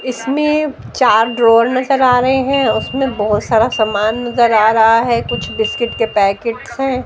इसमें चार ड्रॉवर नजर आ रहे हैं उसमें बहोत सारा सामान नजर आ रहा है कुछ बिस्किट के पैकेट्स हैं।